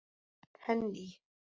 Henný